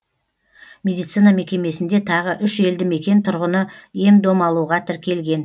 медицина мекемесінде тағы үш елді мекен тұрғыны ем дом алуға тіркелген